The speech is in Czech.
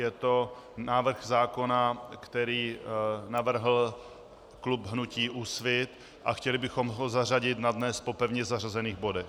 Je to návrh zákona, který navrhl klub hnutí Úsvit, a chtěli bychom ho zařadit na dnes po pevně zařazených bodech.